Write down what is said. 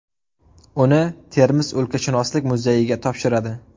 Uni Termiz o‘lkashunoslik muzeyiga topshiradi.